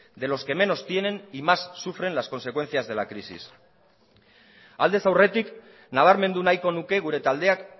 de los que menos tienen y más sufren las consecuencias de la crisis aldez aurretik nabarmendu nahiko nuke gure taldeak